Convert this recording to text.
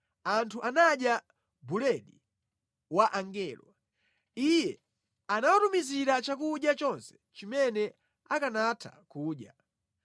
Anthu anadya buledi wa angelo, Iye anawatumizira chakudya chonse chimene akanatha kudya.